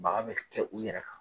Baga bɛ kɛ u yɛrɛ kan.